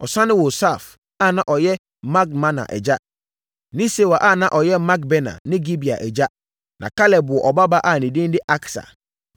Ɔsane woo Saaf a na ɔyɛ Madmana agya ne Sewa a na ɔyɛ Makbena ne Gibea agya. Na Kaleb woo ɔbabaa a ne din de Aksa.